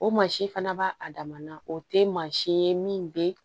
O mansin fana b'a a dama na o tɛ maasi ye min bɛ